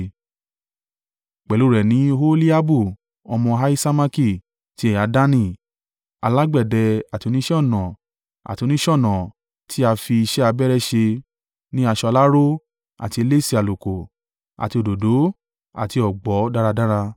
Pẹ̀lú rẹ̀ ni Oholiabu ọmọ Ahisamaki, ti ẹ̀yà Dani: alágbẹ̀dẹ, àti oníṣẹ́-ọnà àti oníṣọ̀nà tí a fi iṣẹ́ abẹ́rẹ́ ṣe ní aṣọ aláró àti elése àlùkò àti òdòdó àti ọ̀gbọ̀ dáradára.)